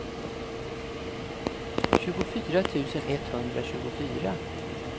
tjugofyra tusen etthundratjugofyra